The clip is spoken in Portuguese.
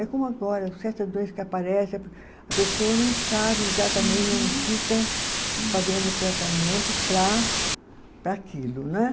É como agora, certa doença que aparece, a pe a pessoa não sabe exatamente, não fica fazendo o tratamento para, para aquilo, né?